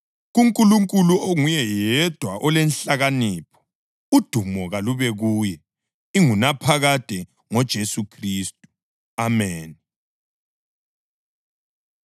kuNkulunkulu onguye yedwa olenhlakanipho, udumo kalube kuye ingunaphakade ngoJesu Khristu! Ameni.